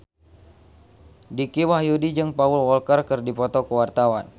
Dicky Wahyudi jeung Paul Walker keur dipoto ku wartawan